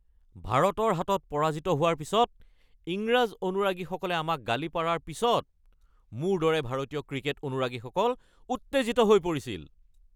ভাৰতৰ হাতত পৰাজিত হোৱাৰ পিছত ইংৰাজ অনুৰাগীসকলে আমাক গালি পাৰাৰ পিছত মোৰ দৰে ভাৰতীয় ক্ৰিকেট অনুৰাগীসকল উত্তেজিত হৈ পৰিছিল।